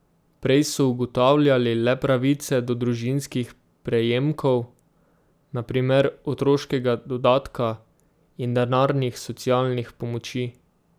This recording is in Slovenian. Prej so ugotavljali le pravice do družinskih prejemkov, na primer otroškega dodatka, in denarnih socialnih pomoči.